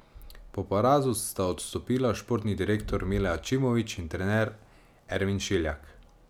Po porazu sta odstopila športni direktor Mile Ačimović in trener Ermin Šiljak.